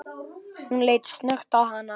Hann leit snöggt á hana.